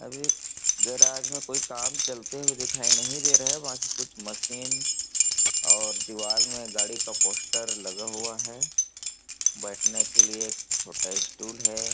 अभी गैराज में कोई काम चलते हुए दिखाई नहीं दे रहा है बाकी कुछ मशीन और दीवार में गाड़ी का पोस्टर लगा हुआ है बैठने के लिए एक छोटा स्टूल है ।